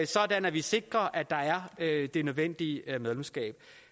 sådan at vi sikrer at der er det nødvendige medlemskab